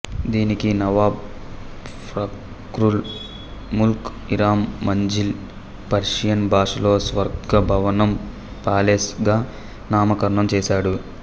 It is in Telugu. దీనికి నవాబ్ ఫాఖ్రుల్ ముల్క్ ఇరం మంజిల్ పర్షియన్ భాషలో స్వర్గ భవనం పాలెస్ గా నామకరణం చేసాడు